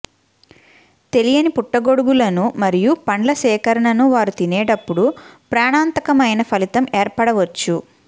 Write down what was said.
తెలియని పుట్టగొడుగులను మరియు పండ్ల సేకరణను వారు తినేటప్పుడు ప్రాణాంతకమైన ఫలితం ఏర్పడవచ్చు